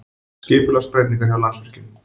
Skipulagsbreytingar hjá Landsvirkjun